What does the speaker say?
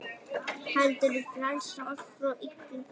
heldur frelsa oss frá illu.